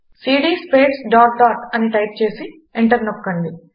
CD space dot dot అని type చేసి enter నొక్కండి